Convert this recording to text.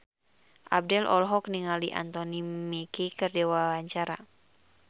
Abdel olohok ningali Anthony Mackie keur diwawancara